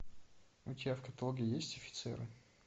у тебя в каталоге есть офицеры